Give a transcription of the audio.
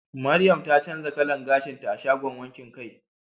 Mariam ta canza kalan gashinta a shagon wankin kai